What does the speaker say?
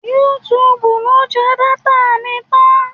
Yútúuùbù ló máa jẹ dátà mi tán.